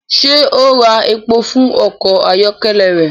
Ṣe o ń rà èpò fún ọkọ ayọkẹlẹ rẹ?